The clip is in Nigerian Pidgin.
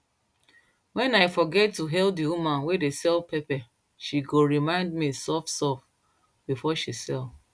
wen i forget to hail the woman wey dey sell pepper she go remind me softsoft before she sell